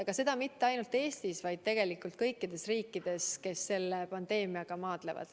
Aga see pole nii mitte ainult Eestis, vaid tegelikult kõikides riikides, kes selle pandeemiaga maadlevad.